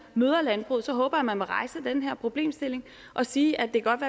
møder landbruget så håber jeg at man vil rejse den her problemstilling og sige at det godt